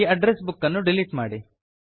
ಈ address book ಅನ್ನು delete ಮಾಡಿ